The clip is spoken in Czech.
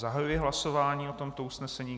Zahajuji hlasování o tomto usnesení.